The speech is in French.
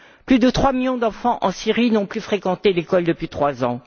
Plus de trois millions d'enfants en Syrie n'ont plus fréquenté l'école depuis trois ans.